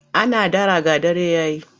Ana dara ga dare ya yi.